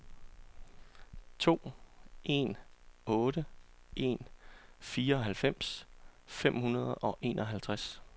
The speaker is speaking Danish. to en otte en fireoghalvfems fem hundrede og enoghalvtreds